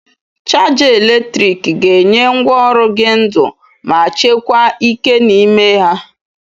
Chaja eletrik ga-enye ngwaọrụ gị ndu ma chekwa ike n'ime ha.